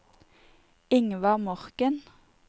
Ingvar Morken